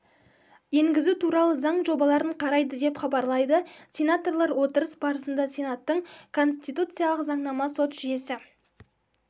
енгізу туралы заң жобаларын қарайды деп хабарлайды сенаторлар отырыс барысында сенаттың конституциялық заңнама сот жүйесі